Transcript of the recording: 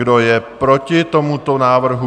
Kdo je proti tomuto návrhu?